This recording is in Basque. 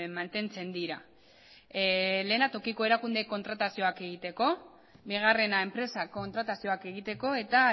mantentzen dira lehena tokiko erakunde kontratazioak egiteko bigarrena enpresak kontratazioak egiteko eta